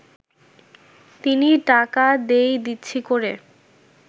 তিনি টাকা দেই-দিচ্ছি করে